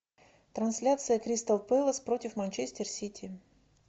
трансляция кристал пэлас против манчестер сити